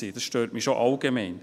Das stört mich schon allgemein.